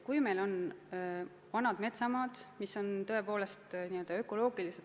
Võtame näiteks vanad metsamaad.